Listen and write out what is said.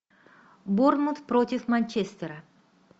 борнмут против манчестера